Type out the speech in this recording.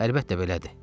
Əlbəttə belədir.